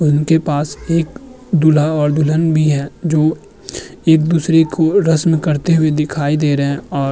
उनके पास एक दूल्हा और दुल्हन भी हैं जो एक दूसरे को रस्म करते हुए दिखाई दे रहे हैं और --